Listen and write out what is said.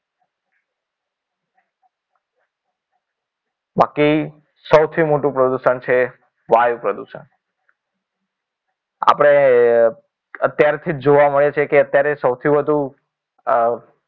બાકી સૌથી મોટું પ્રદૂષણ છે વાયુ પ્રદુષણ આપણે અત્યારથી જ જોવા મળે છે કે અત્યારે સૌથી વધુ અ